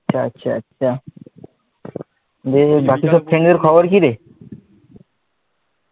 আচ্ছা আচ্ছা আচ্ছা দিয়ে বাকিটা